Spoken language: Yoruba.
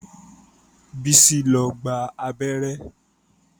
Bísí lọ gba abẹ́rẹ́